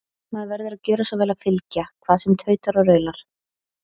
Maður verður að gjöra svo vel að fylgja, hvað sem tautar og raular.